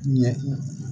Ɲɛ